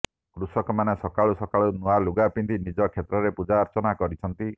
କୃଷକମାନେ ସକାଳୁ ସକାଳୁ ନୂଆଲୁଗା ପିନ୍ଧି ନିଜ କ୍ଷେତ୍ରରେ ପୂଜାର୍ଚ୍ଚନା କରିଛନ୍ତି